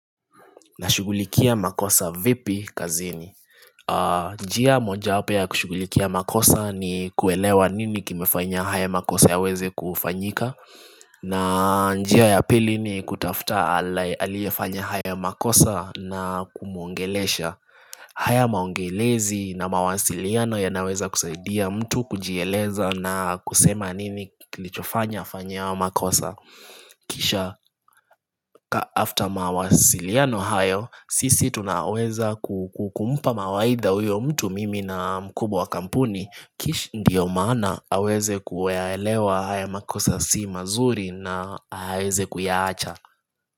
Nashughulikia makosa vipi kazini njia moja wapo ya kushughulikia makosa ni kuelewa nini kimefanya haya makosa yaweze kufanyika na njia ya pili ni kutafuta aliyefanya haya makosa na kumwongelesha haya mazungumuzo na mawasiliano yanaweza kusaidia mtu kujieleza na kusema ni nini kilichofanya afanya hayo makosa Kisha kama after mawasiliano hayo, sisi tunaweza kumpa mawaidha huyo mtu mimi na mkubwa wa kampuni Kish ndio maana aweze kuyaelewa haya makosa si mazuri na aweze kuyaacha.